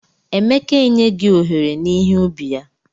Emeka e nyegi ohere n'ihe ubi ya.